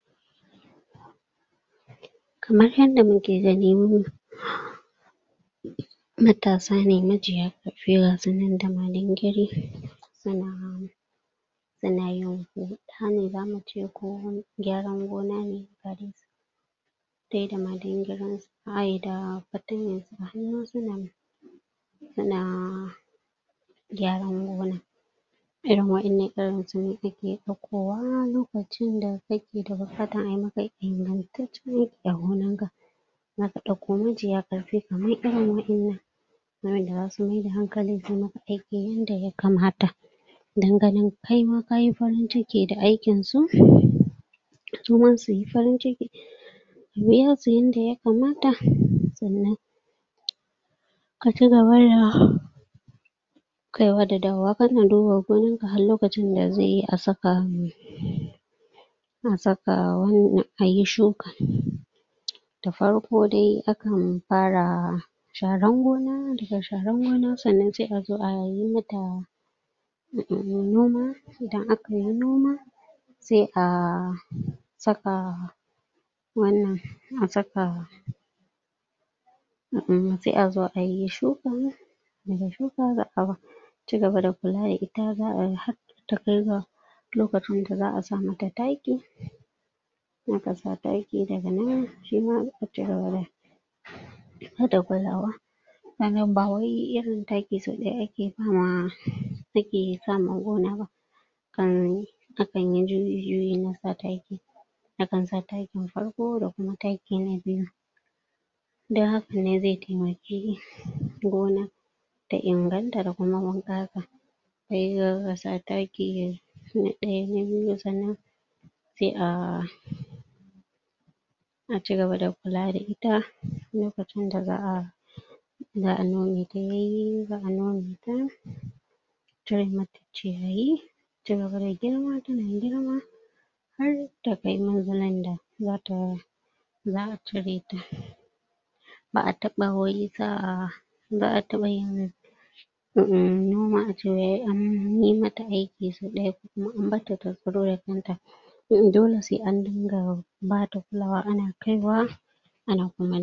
kamar yadda mu ke ganin matasa ne, majiya ga su nan da malengarin su na su na yin huɗ, sanni za mu ce ko gyaran gona ne ta yi da malingarin, ba yi da patanya ya na gyaran buhuna irin waƴannan, irin su ne a ke daukowa lokacin da ka ke da bukata a yi ma ka ingantacce a gonar ka. za ka dauko mijiya karfi kamar irin waƴannan waƴanda za su mai da hankali su ma ka aiki inda ya kamata dan ganin kai ma ka yi farin ciki da aikin su su ma su yi farinciki ka biya su inda ya kamata, tsannan ka cigaba da kaiwa da dawowa ka na duba gonar ka har lokacin da zai yi a tsaka a tsaka a wannan, a yi shuka Da farko dai a kan fara sharan gona da sharan gona tsannan sai a zo a yi ma ta umm noma, idan a ka yi noma sai ah, tsaka wannan, a tsaka umm sai a zo a yi shukan da ga shuka zaa cigaba da kulla da ita zaa har ta kai ga lokaci da zaa sa ma ta takki un a ka sa takki, da ga nan shi ma har da kullawa wannan ba wai irin takki so daya a ke sa ma a ke sa ma gona ba kari, a kan yi juyi-juyi na sa takki a kan sa takkin farko da kuma takki na biyu dan haka ne zai taimaki gona da inganta da kuma wan kassa zai zo a sa takki, na daya, ba biyu tsannan sai a a cigaba da kulla da ita, lokacin da zaa zaa nome ta, ya yi, zaa noma ta a cire mata ciyayi, ya cigaba da girma, ta na girma har ta kai mazallan da, za ta zaa cire ta baa taba wai zaa, zaa taba yin umm noma a ce wai an yi mata aiki so daya ko kuma an bar ta, ta duro da kan ta umm umm dole sai an dinga ba ta flawa a na kai wa a na kuma